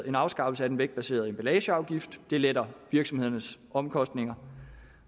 en afskaffelse af den vægtbaserede emballageafgift det letter virksomhedernes omkostninger